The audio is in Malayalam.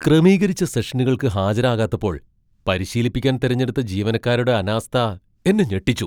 ക്രമീകരിച്ച സെഷനുകൾക്ക് ഹാജരാകാത്തപ്പോൾ പരിശീലിപ്പിക്കാൻ തിരഞ്ഞെടുത്ത ജീവനക്കാരുടെ അനാസ്ഥ എന്നെ ഞെട്ടിച്ചു.